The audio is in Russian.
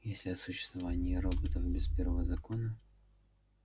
если о существовании роботов без первого закона